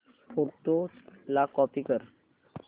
photos ला copy कर